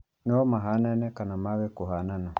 No mahanane kana mage kũhanana